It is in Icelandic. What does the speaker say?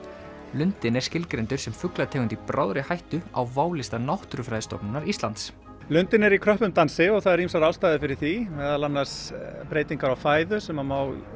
lundinn er skilgreindur sem fuglategund í bráðri hættu á válista Náttúrufræðistofnunar Íslands lundinn er í kröppum dansi og það eru ýmsar ástæður fyrir því meðal annars breytingar á fæðu sem má